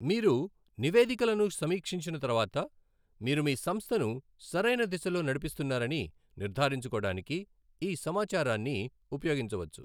మీరు నివేదికలను సమీక్షించిన తర్వాత, మీరు మీ సంస్థను సరైన దిశలో నడిపిస్తున్నారని నిర్ధారించుకోడానికి ఈ సమాచారాన్ని ఉపయోగించవచ్చు.